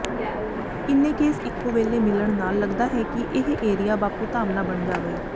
ਇੰਨੇ ਕੇਸ ਇੱਕੋ ਵੇਲੇ ਮਿਲਣ ਨਾਲ ਲੱਗਦਾ ਹੈ ਕਿ ਇਹ ਏਰੀਆ ਬਾਪੂਧਾਮ ਨਾ ਬਣ ਜਾਵੇ